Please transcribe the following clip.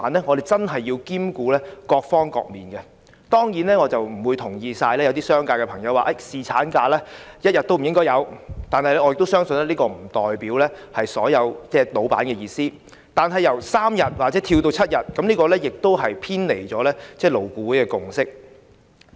我們真的要兼顧各方面的需要，當然，我並不完全同意一些商界朋友說"侍產假一天也不應該有"，我相信這並不代表所有老闆的意思，但由3天增至7天，亦偏離了勞顧會的共識。